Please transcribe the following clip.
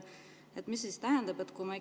Mis see siis tähendab?